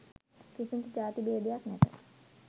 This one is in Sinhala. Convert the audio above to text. කිසිදු ජාති භේදයක් නැත.